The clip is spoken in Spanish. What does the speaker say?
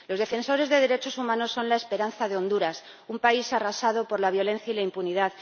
Los defensores de derechos humanos son la esperanza de Honduras, un país arrasado por la violencia y la impunidad.